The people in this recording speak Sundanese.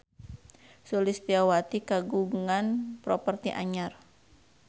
Sulistyowati kagungan properti anyar